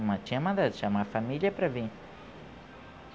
Uma tinha mandado chamar a família para vir.